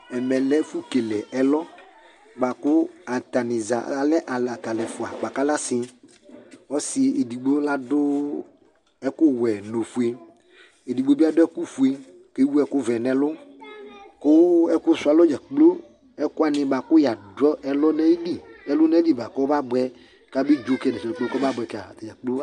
ɛmɛ lɛ ɛfu kele ɛlɔ boa kò atani za alɛ alo ata alɛ ɛfua boa kò alɛ asi ɔsi edigbo la dò ɛkò wɛ n'ofue edigbo bi adu ɛkò fue k'ewu ɛkò vɛ n'ɛlu kò ɛku su alɔ dza kplo ɛfu wani boa kò ya du ɛlu n'ayili ɛlu n'ayili boa kò ɔba boɛ k'abe dzo kɛ n'ɛsɛ kpe kpe k'ɔba boɛ kɛ atadza kplo